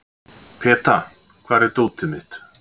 Peta, hvar er dótið mitt?